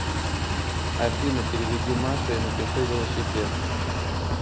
афина переведи маше и напиши велосипед